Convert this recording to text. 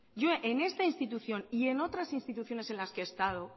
yo en esta institución y en otras instituciones en las que he estado